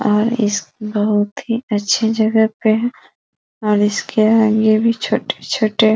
और इस बहोत ही अच्छी जगह पे है और इसके आगे भी छोटे-छोटे --